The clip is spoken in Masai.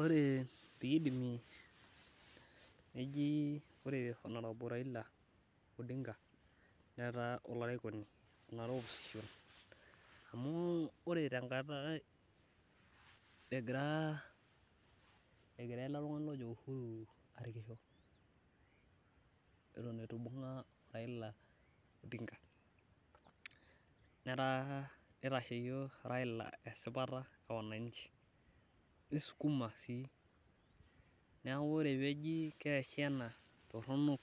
ore pee idimi neji ore honorable Raila netaa olarikoni, amu ore tenkata egira ele tungani oji uhuru arkisho, eton etu ibunga o raila odinga, nitasheyie raila esipata e wanaichi, nisukuma sii neeku ore pee eji keesi ena toronok